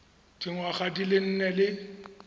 dingwaga di le nne le